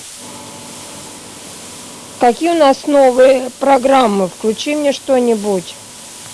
какие у нас новые программы включи мне что нибудь